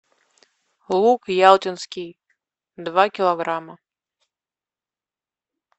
лук ялтинский два килограмма